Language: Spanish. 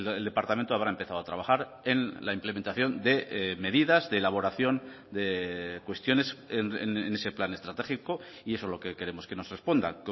el departamento habrá empezado a trabajar en la implementación de medidas de elaboración de cuestiones en ese plan estratégico y eso es lo que queremos que nos responda